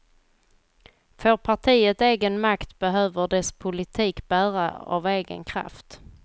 Får partiet egen makt behöver dess politik bära av egen kraft.